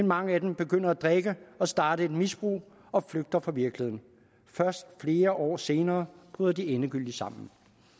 mange af dem begynder at drikke og starter et misbrug og flygter fra virkeligheden først flere år senere bryder de endegyldigt sammen